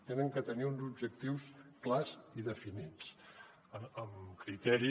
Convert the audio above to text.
han de tenir uns objectius clars i definits amb criteri